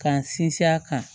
K'an sinsin a kan